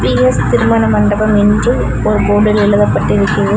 பி_ஸ் திருமண மண்டபம் என்று ஒரு போர்டில் எழுதபட்டு இருக்கி --